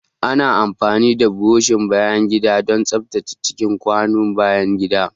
Ana amfani da burushin bayan gida don tsaftace cikin kwanon bayan gida.